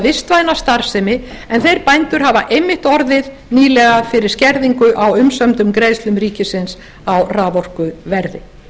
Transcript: vistvæna starfsemi en þeir bændur hafa einmitt orðið nýlega fyrir skerðingu á umsömdu greiðslum ríkisins á raforkuverði þá er